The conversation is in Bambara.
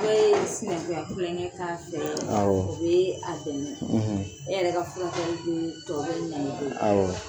I bɛ sinɛkunya tilonkɛ k'a fɛ o bɛ a dɛmɛ e yɛrɛ furakɛli bɛ tɔ bɛ nɔgɔya awɔ